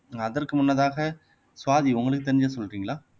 அதற்கு முன்னதாக சுவாதி உங்களுக்கு தெரிஞ்சது சொல்றீங்களா